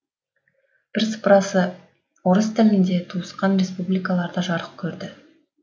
бірсыпырасы орыс тілінде туысқан республикаларда жарық керді